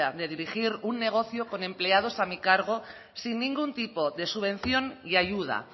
de dirigir un negocio con empleados a mi cargo sin ningún tipo de subvención y ayuda